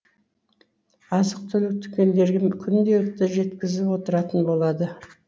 азық түлік дүкендерге күнделікті жеткізіліп отыратын болады